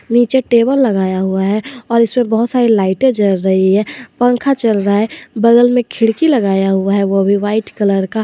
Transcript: नीचे टेबल लगाया हुआ है और इसमें बहोत सारे लाइटे जल रही है पंखा चल रहा है बगल में खिड़की लगाया हुआ है वो भी व्हाइट कलर का।